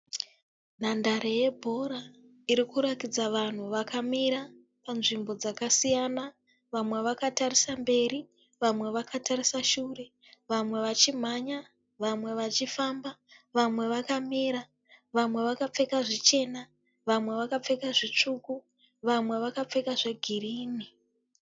Nhandare yebhora iri kurakidza vanhu vakamira panzvimbo dzakasiyana vamwe vakatarisa mberi vamwe vakatarisa shure vamwe vachimhanya vamwe vachifamba vamwe vakamira vamwe vakapfeka zvichena vamwe vakapfeka zvitsvuku vamwe vakapfeka zvegirini.